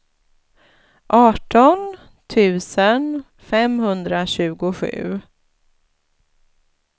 arton tusen femhundratjugosju